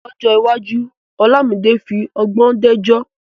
Lọ́jọ́ iwájú, Olamide fi ọgbọ́n dájọ́.